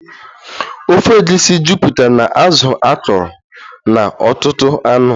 Ofe egusi jupụtara na azụ akọrọ na ọtụtụ anụ